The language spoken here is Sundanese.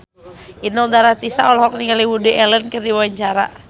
Inul Daratista olohok ningali Woody Allen keur diwawancara